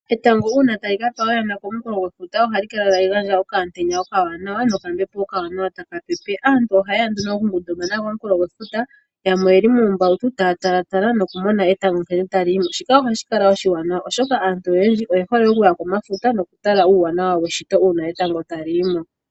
Etango uuna tali kapa oyana komukulo gwefuta ohali kala tali gandja okaantenya okawanawa nokambepo okawanawa taka pepe. Aantu ohaye ya nduno okungundumana koonkulo dhefuta, yamwe oyeli muumbautu taya tala nokumona nkene etango tali yimo shika ohashi kala oshiwanawa oshoka aantu oyendji oye hole okuya komafuta nokutala uuwanawa weshito uuna etango tali yimo.